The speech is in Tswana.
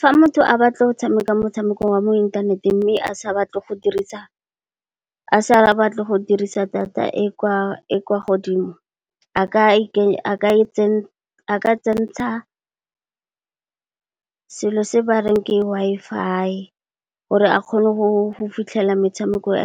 Fa motho a batla go tshameka motshameko wa mo inthaneteng mme, a sa batle go dirisa data e kwa godimo a ka tsentsha selo se bareng ke Wi-Fi gore a kgone go fitlhela metshameko e